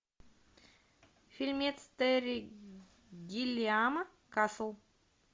фильмец терри гиллиама касл